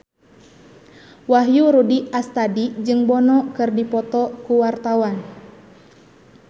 Wahyu Rudi Astadi jeung Bono keur dipoto ku wartawan